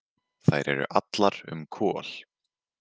Þær eru allar um Kol.